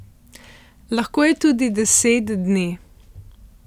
Lahko je tudi deset dni.